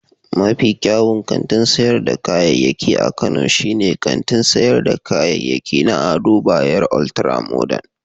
Mafi kyawun kantin sayar da kayayyaki a Kano shine kantin sayar da kayayyaki na Ado Bayero Ultra-Modern.